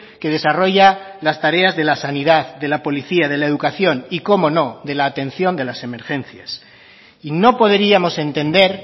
que desarrolla las tareas de la sanidad de la policía de la educación y cómo no de la atención de las emergencias y no podríamos entender